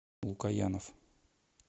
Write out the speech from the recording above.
лукоянов